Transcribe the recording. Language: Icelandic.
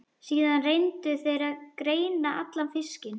Síðan reyndu þeir að greina allan fiskinn.